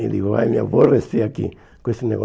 Ele vai me aborrecer aqui com esse